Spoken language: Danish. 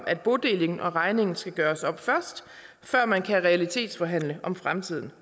at bodelingen og regningen skal gøres op før man kan realitetsforhandle om fremtiden